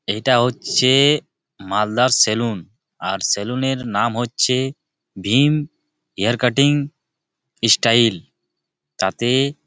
এটা হচ্ছে-এ-এ মালদার সেলুন । আর সেলুন -এর নাম হচ্ছে ভীম হেয়ার কাটটিং স্টাইল । তাতে--